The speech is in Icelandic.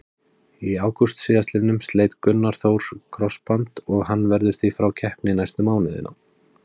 Í ágúst síðastliðnum sleit Gunnar Þór krossband og hann verður því frá keppni næstu mánuðina.